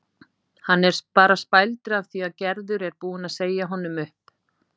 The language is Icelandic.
Hann er bara spældur af því að Gerður er búin að segja honum upp